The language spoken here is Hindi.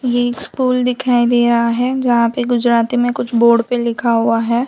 ये स्कूल दिखाई दे रहा है जहां पे गुजराती में कुछ बोर्ड पे लिखा हुआ है।